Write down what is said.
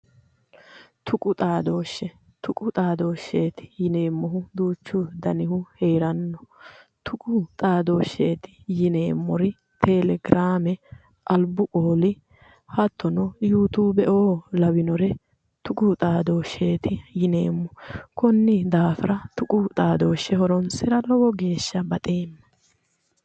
Tuqu xaadoshe tuqu xaadosheeti yineemohu duuchu danihu heranno tuqu xaadosheeti yineemor telegraame alibbu qooli hattono yutubeoo lawinore tuqu xaadosheeti yineemo konni daafira tuqu xaadoshe horonisra lowo geesha baxeema